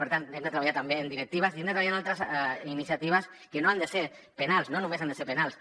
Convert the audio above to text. per tant hem de treballar també en directives i hem de treballar en altres iniciatives que no han de ser penals no només han de ser penals